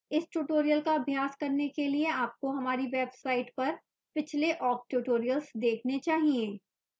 इस tutorial का अभ्यास करने के लिए आपको हमारी website पर पिछले awk tutorials देखने चाहिए